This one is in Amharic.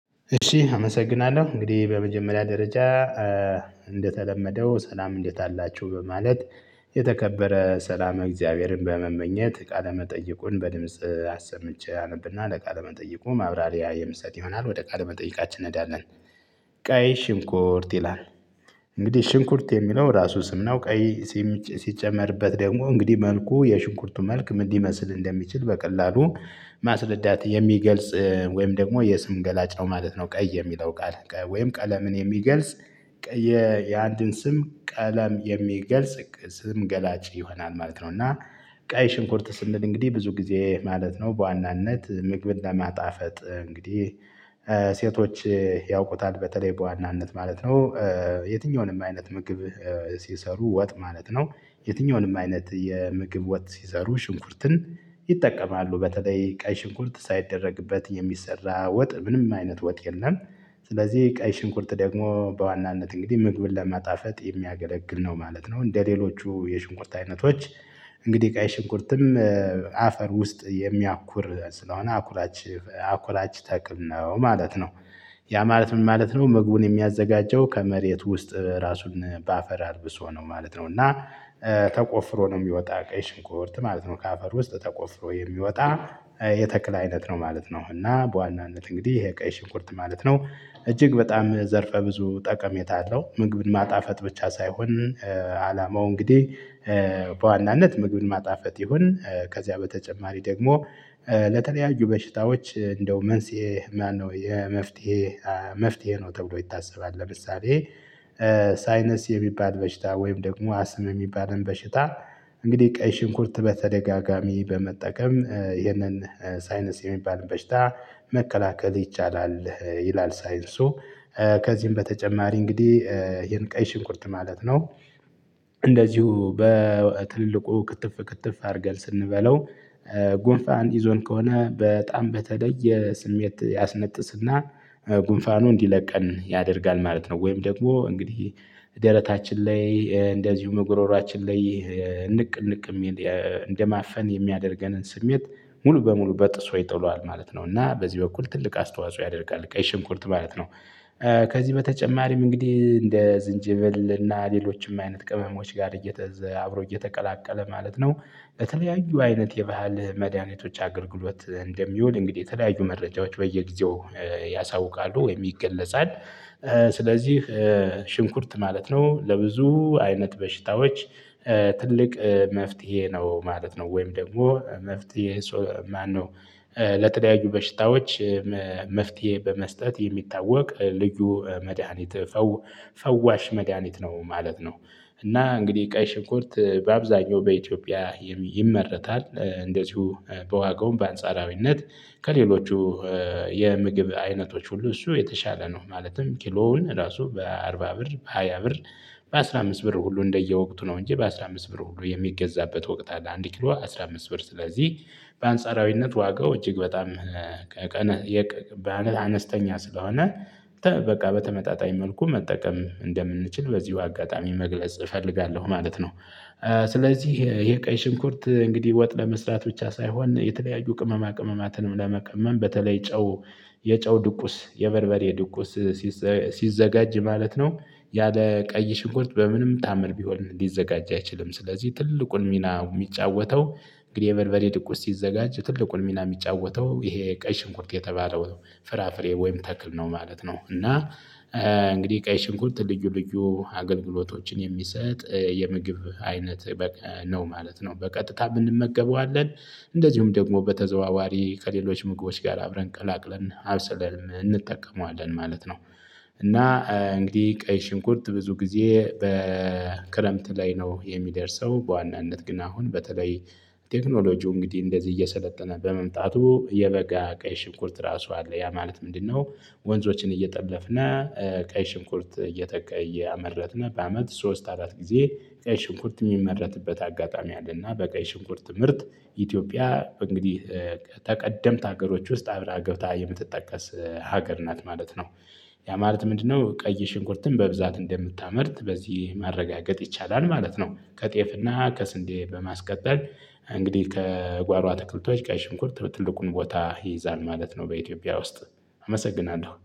እሺ አመሰግናለሁ እንግዲህ በመጀመሪያ ደረጃ እንደተለመደው ሰላም እንዴት አላችሁ በማለት የተከበረ ሰላመ እግዚአብሔርን በመመኘት ቃለ መጠይቁን በድምጽ አሰምቼ አነብና ለቃለ መጠይቁ ማብራሪያ የምሰጥ ይሆናል ወደ ቃለ መጠይቃችን እንሄዳለን። ቀይ ሽንኩርት ይላል። እንግዲህ ሽንኩርት የሚለው ራሱ ስም ነው ቀይ ሲጨመርበት ደግሞ እንግዲህ መልኩ የሽንኩርቱ መልክ ምን ሊመስል እንደሚችል በቀላሉ ማስረዳት የሚገልጽ ወይም ደግሞ የስም ገላጭ ነው ማለት ነው። ቀይ የሚለው ቃል ወይም ቀለምን የሚገልጽ የአንድን ስም ቀለም የሚገልጽ ስም ገላጭ ይሆናል ማለት ነው። እና ቀይ ሽንኩርት ስንል እንግዲህ ብዙ ጊዜ ማለት ነው በዋናነት ምግብን ለማጣፈጥ እንግዲህ ያውቁታል በተለይ በዋናነት ማለት ነው። የትኛውንም አይነት ምግብ ሲሰሩ ወጥ ማለት ነው የትኛውንም አይነት የምግብ ወጥ ሲሰሩ ሽንኩርትን ይጠቀማሉ በተለይ ቀይ ሽንኩርት ሳይደረግበት የሚሰራ ወጥ ምንም አይነት ወጥ የለም። ስለዚህ ቀይ ሽንኩርት ደግሞ በዋናነት እንግዲህ ምግብን ለማጣፈጥ የሚያገለግል ነው ማለት ነው። እንደሌሎቹ የሽንኩርት አይነቶች እንግዲህ ቀይ ሽንኩርትም አፈር ውስጥ የሚያኩር ስለሆነ አኩላች አኩላች ተክል ነው ማለት ነው። ያ ማለት ምን ማለት ነው? ምግቡን የሚያዘጋጀው ከመሬት ውስጥ ራሱን በአፈር አልብሶ ነው ማለት ነው። እና ተቆፍሮ ነው የሚወጣ ቀይ ሽንቁርት ማለት ነው። ከአፈር ውስጥ ተቆፍሮ የሚወጣ የተክል አይነት ነው ማለት ነው። እና በዋናነት እንግዲህ ይሄ ቀይ ሽንኩርት ማለት ነው እጅግ በጣም ዘርፈ ብዙ ጠቀሜታ አለው። ምግብን ማጣፈጥ ብቻ ሳይሆን አላማው እንግዲህ በዋናነት ምግብን ማጣፈጥ ይሁን። ከዚያ በተጨማሪ ደግሞ ለተለያዩ በሽታዎች እንደው መንስኤ ማነው የመፍትሄ መፍትሄ ነው ተብሎ ይታሰባል። ለምሳሌ ሳይነስ የሚባል በሽታ ወይም ደግሞ አስም የሚባልን በሽታ እንግዲህ ቀይ ሽንኩርት በተደጋጋሚ በመጠቀም ይህንን ሳይነስ የሚባል በሽታ መከላከል ይቻላል። ይላል ሳይንሱ ከዚህም በተጨማሪ እንግዲህ ይሄን ቀይ ሽንኩርት ማለት ነው። እንደዚሁ በትልልቁ ክትፍ ክትፍ አድርገን ስንበላው ጉንፋን ይዞን ከሆነ በጣም በተለየ ስሜት ያስነጥስና ጉንፋኑ እንዲለቀን ያደርጋል ማለት ነው። ወይም ደግሞ እንግዲህ ደረታችን ላይ እንደዚሁ ጉሮሮችን ላይ ንቅ ንቅ የሚል እንደማፈን የሚያደርገንን ስሜት ሙሉ በሙሉ በጥሶ ይጥለዋል ማለት ነው። እና በዚህ በኩል ትልቅ አስተዋጽኦ ያደርጋል ቀይ ሽንኩርት ማለት ነው። ከዚህ በተጨማሪም እንግዲህ እንደ ዝንጀብል እና ሌሎችም አይነት ቅመሞች ጋር እየተዘ አብሮ እየተቀላቀለ ማለት ነው። በተለያዩ አይነት የባህል መድኃኒቶች አገልግሎት እንደሚውል እንግዲህ የተለያዩ መረጃዎች በየጊዜው ያሳውቃሉ ወይም ይገለጻል። ስለዚህ ሽንኩርት ማለት ነው ለብዙ አይነት በሽታዎች ትልቅ መፍትሄ ነው ማለት ነው። ወይም ደግሞ መፍትሄ ማነው? ለተለያዩ በሽታዎች መፍትሄ በመስጠት የሚታወቅ ልዩ መድሃኒት ፈዋሽ መድሃኒት ነው ማለት ነው። እና እንግዲህ ቀይ ሽንኩርት በአብዛኛው በኢትዮጵያ ይመረታል እንደዚሁ በዋጋውም በአንጻራዊነት ከሌሎቹ የምግብ አይነቶች ሁሉ እሱ የተሻለ ነው። ማለትም ኪሎውን ራሱ በአርባ ብር በሃያ ብር በአሥራ አምስት ብር ሁሉ እንደየወቅቱ ነው እንጂ በአሥራ አምስት ብር ሁሉ የሚገዛበት ወቅት አለ። አንድ ኪሎ አስራ አምስት ብር ስለዚህ በአንጻራዊነት ዋጋው እጅግ በጣም በአነስተኛ አነስተኛ ስለሆነ በቃ በተመጣጣኝ መልኩ መጠቀም እንደምንችል በዚሁ አጋጣሚ መግለጽ እፈልጋለሁ ማለት ነው። ስለዚህ ይሄ ቀይ ሽንኩርት እንግዲህ ወጥ ለመስራት ብቻ ሳይሆን የተለያዩ ቅመማ ቅመማትንም ለመቀመም በተለይ ጨው የጨው ድቁስ የበርበሬ ድቁስ ሲዘጋጅ ማለት ነው። ያለ ቀይ ሽንኮት በምንም ታምን ቢሆን ሊዘጋጅ አይችልም ስለዚህ ትልቁን ሚና የሚጫወተው እንግዲህ የበርበሬ ድቁስ ሲዘጋጅ ትልቁን ሚና የሚጫወተው ይሄ ቀይ ሽንኩርት የተባለው ፍራፍሬ ወይም ተክል ነው ማለት ነው። እና እንግዲህ ቀይ ሽንኩርት ልዩ ልዩ አገልግሎቶችን የሚሰጥ የምግብ አይነት ነው ማለት ነው። በቀጥታም እንመገበዋለን እንደዚሁም ደግሞ በተዘዋዋሪ ከሌሎች ምግቦች ጋር አብረን ቀላቅለን አብሰለንም እንጠቀመዋለን ማለት ነው። እና እንግዲህ ቀይ ሽንኩርት ብዙ ጊዜ በክረምት ላይ ነው የሚደርሰው በዋናነት ግን አሁን በተለይ ቴክኖሎጂው እንግዲህ እየሰለጠነ በመምጣቱ የበጋ ቀይ ሽኩርት ራሱ አለ ያ ማለት ምንድነው? ወንዞችን እየጠለፍና ቀይ ሽንኩርት እየተቀየ ያመረትነው በአመት ሶስት አራት ጊዜ ቀይ ሽንኩርት የሚመረትበት አጋጣሚ አለና በቀይ ሽንኩርት ምርት ኢትዮጵያ እንግዲህ ተቀደምት ሀገሮች ውስጥ አብራ ገብታ የምትጠቀስ ሀገር ናት ማለት ነው። ያ ማለት ምንድነው? ቀይ ሽንኩርትን በብዛት እንደምታመርት በዚህ ማረጋገጥ ይቻላል ማለት ነው። ከጤፍና ከስንዴ በማስቀጠል እንግዲህ ከጓሮ አትክልቶች ቀይ ሽንኩርት ትልቁን ቦታ ይይዛል ማለት ነው። በኢትዮጵያ ውስጥ አመሰግናለሁ